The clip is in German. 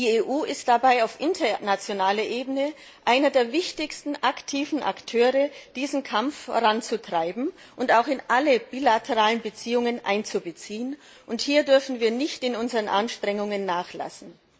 Die EU ist dabei auf internationaler Ebene einer der wichtigsten aktiven Akteure, um diesen Kampf anzutreiben und auch in alle bilateralen Beziehungen einzubeziehen, und hier dürfen wir nicht in unseren Anstrengungen nachlassen.